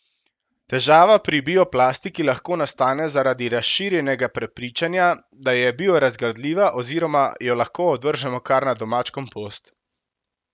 Težava pri bioplastiki lahko nastane zaradi razširjenega prepričanja, da je biorazgradljiva oziroma jo lahko odvržemo kar na domač kompost.